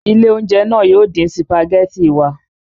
Ilé-oúnjẹ náà yóò dín sìpàgẹ́tì wa.